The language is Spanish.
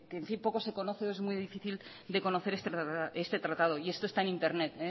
en fin que poco se conoce es muy difícil de conocer este tratado y esto está en internet